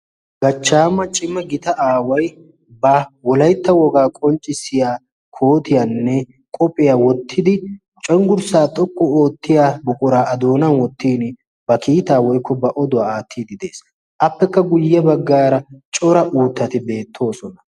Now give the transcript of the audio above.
Gachchaama cimma gita aawai ba wolaytta wogaa qonccissiya kootiyaanne qophphiyaa wottidi cenggurssaa xoqqu oottiya boqoraa adoonan wottin ba kiitaa woikko ba oduwaa aattiidi de'ees. appekka guyye baggaara cora uuttati beettoosona.